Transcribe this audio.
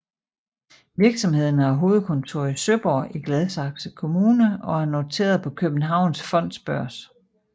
Virksomheden har hovedkontor i Søborg i Gladsaxe Kommune og er noteret på Københavns Fondsbørs